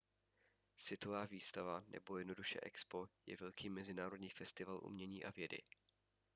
světová výstava nebo jednoduše expo je velký mezinárodní festival umění a vědy